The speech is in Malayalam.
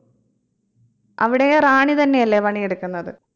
അവിടെയു റാണി തന്നെയല്ലേ പണിയെടുക്കുന്നത്